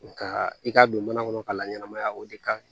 Nka i k'a don mana kɔnɔ ka laɲɛnɛmaya o de kaɲi